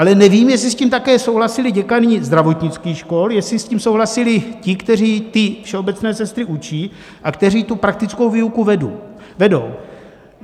Ale nevím, jestli s tím také souhlasili děkani zdravotnických škol, jestli s tím souhlasili ti, kteří ty všeobecné sestry učí a kteří tu praktickou výuku vedou.